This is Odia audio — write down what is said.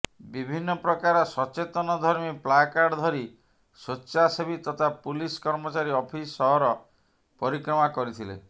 ବିଭିନ୍ନ ପ୍ରକାର ସଚେତନଧର୍ମୀ ପ୍ଲାକାର୍ଡ ଧରି ସ୍ୱେଚ୍ଛାସେବୀ ତଥା ପୁଲିସ କର୍ମଚାରୀ ଅଫିସ ସହର ପରିକ୍ରମା କରିଥିଲେ